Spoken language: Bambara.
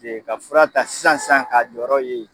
ka fura ta sisan sisan k'a jɔyɔrɔ ye